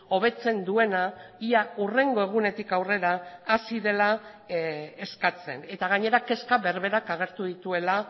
hobetzen duena ia hurrengo egunetik aurrera hasi dela eskatzen eta gainera kezka berberak agertu dituela